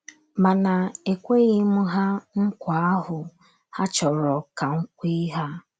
Mana, ekweghị m ha nkwa ahụ ha chọrọ ka m kwe ha.